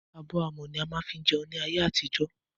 Abọ́ amọ̀ ní wọ́n má ń fí jẹun ní ayé àtijọ́.